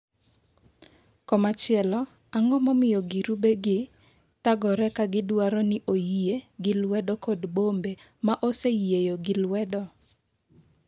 komachielo, ang'o momiyo girube gi thagore ka gidwaro ni oyie gi lwedo kod bombe ma oseyieyo gi lwedo?